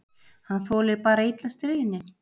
Hann þolir bara illa stríðni.